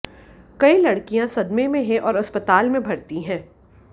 कई लड़कियां सदमे में हैं और अस्पताल में भर्ती हैं